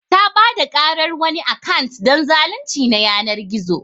Ta Bada karar wani akant don zalunci na yanar gizo.